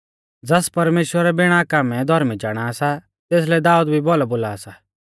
ज़ास परमेश्‍वर बिणा कामै धौर्मी चाणा सा तेसलै दाऊद भी भौलौ बोला सा